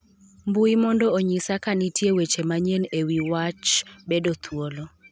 mbui mondo onyisa ka nitie weche manyien e wi wach bedo thuolo